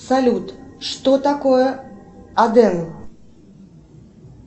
салют что такое аден